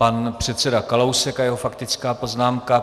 Pan předseda Kalousek a jeho faktická poznámka.